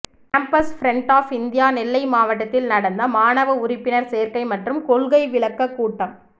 campus front of India Nellai மாவட்டத்தில் நடந்த மாணவ உறுப்பினர் சேர்கை மற்றும் கொள்கை விளக்க கூட்டம்